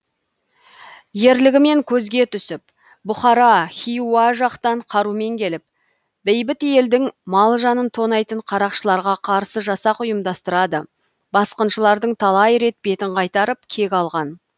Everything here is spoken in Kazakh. ерлігімен көзге түсіп бұхара хиуа жақтан қарумен келіп бейбіт елдің мал жанын тонайтын қарақшыларға қарсы жасақ ұйымдастырады басқыншылардың талай рет бетін қайтарып кек алған